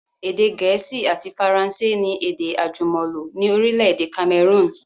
Èdè gẹ̀ẹ́sì àti Faransé ni èdè àjùmọ̀lò ni orílẹ̀èdè Cameroon